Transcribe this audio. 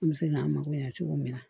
An bɛ se k'an mako ɲa cogo min na